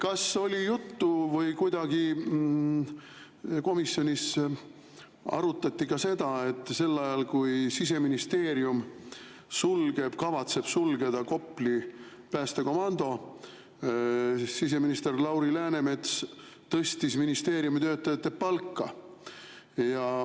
Kas oli juttu või kuidagi komisjonis arutati ka seda, et sel ajal, kui Siseministeerium kavatseb sulgeda Kopli päästekomando, siseminister Lauri Läänemets tõstis ministeeriumi töötajate palka.